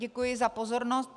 Děkuji za pozornost.